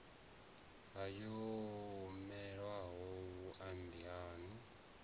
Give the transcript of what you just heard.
ayo o newaho vhumbani anu